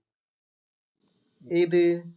ഏത്?